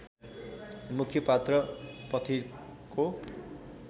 मुख्य पात्र पथिकको